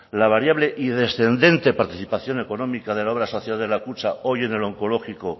la variable y descendente participación económica de la obra social de la kutxa hoy en el oncológico